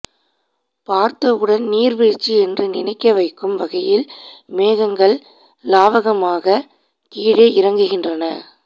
பார்த்த உடன் நீர் வீழ்ச்சி என்று நினைக்க வைக்கும் வகையில் மேகங்கள் லாவகமாக கீழே இறங்குகின்றன